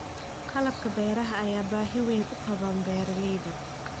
Qalabka beeraha ayaa baahi weyn u qaba beeralayda.